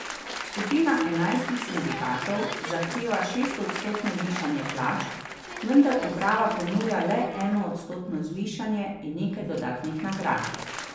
Skupina enajstih sindikatov zahteva šestodstotno višanje plač, vendar uprava ponuja le enoodstotno zvišanje in nekaj dodatnih nagrad.